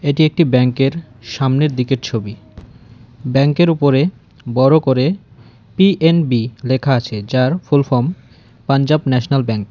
এটি একটি ব্যাংক -এর সামনের দিকের ছবি ব্যাংক -এর উপরে বড় করে পি_এন_বি লেখা আছে যার full form Punjab National Bank.